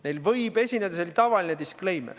Neil võib esineda – see on tavaline disclaimer.